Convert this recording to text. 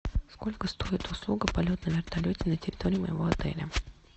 сколько стоит услуга полет на вертолете на территории моего отеля